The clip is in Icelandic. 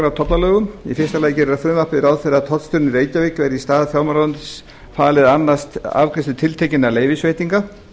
á tollalögum í fyrsta lagi gerir frumvarpið ráð fyrir að tollstjóranum í reykjavík verði í stað fjármálaráðuneytisins falið að annast afgreiðslu tiltekinna leyfisveitinga